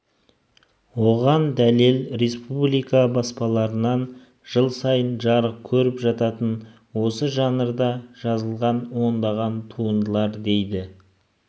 оған дәлел республика баспаларынан жыл сайын жарық көріп жататын осы жанрда жазылған ондаған туындылар дейді